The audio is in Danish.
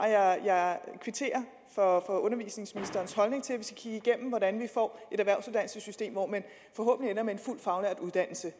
jeg kvitterer for undervisningsministerens holdning til at vi skal kigge igennem hvordan vi får et erhvervsuddannelsessystem hvor man forhåbentlig ender med en fuldt faglært uddannelse